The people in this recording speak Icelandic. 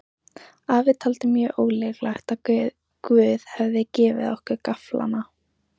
Afi taldi mjög ólíklegt að Guð hefði gefið okkur gafflana.